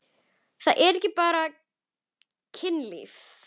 Það er ekki bara kynlíf.